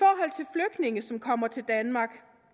i som kommer til danmark